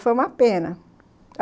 Foi uma pena.